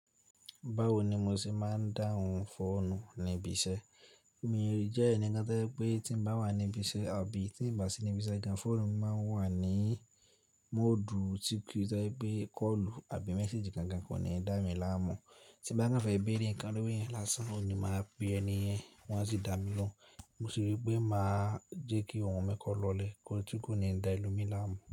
Báwo ni mo ṣe máa ń dáhùn fóònù níbi iṣẹ́? Emiì jẹ́ ẹnìkan tẹ́lẹ̀ pé tí mo bá wà níbi iṣẹ́ àbí tí mo bá sí níbi iṣẹ́ gan, fóònù mi máa ń wà ní móòdù tí kò yá tẹ́lẹ̀ pé kọ́ọ̀lù àbí méséjì kankan kò ní dá mi láàmú. Tí mo bá n fẹ́ béèrè ǹkan lórí ẹ̀yán lásán, òní máa pè é ni ẹ̀yán, wọ́n á sì dá mi lóhùn. Mo sì rí pé mà á jẹ́ kí ohun mi kọ́ lọlẹ̀ kí n tó kù ní ń dá ẹlómi láàmú.